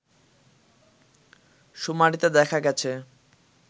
শুমারিতে দেখা গেছে